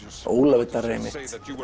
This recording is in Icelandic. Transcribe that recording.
Ólafur Darri einmitt